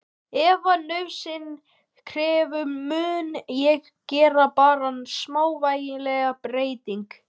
Ef nauðsyn krefur mun ég gera þar smávægilegar breytingar.